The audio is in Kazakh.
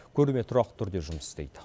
көрме тұрақты түрде жұмыс істейді